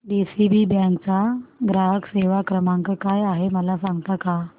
DCB bank चा ग्राहक सेवा क्रमांक काय आहे मला सांगता का